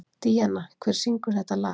Díanna, hver syngur þetta lag?